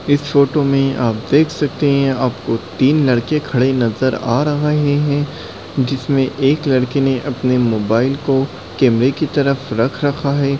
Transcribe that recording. इस फोटो में आप देख सकते हैं आपको तीन लड़के खड़े नज़र आ रहाहे हैं जिसमें एक लड़के ने अपने मोबाइल को कैमरे की तरफ रख रखा है।